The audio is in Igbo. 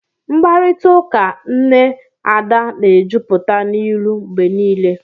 Mkparịta ụka nne Ada na-ejupụta n'ilu mgbe niile